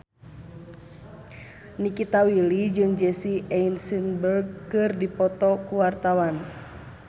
Nikita Willy jeung Jesse Eisenberg keur dipoto ku wartawan